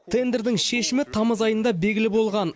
тендердің шешімі тамыз айында белгілі болған